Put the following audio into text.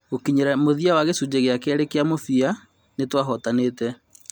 Gũkinyĩria mũthia wa gicunjĩ gia kerĩ kia mũthia kia mũbira ,nĩtwahootanĩte.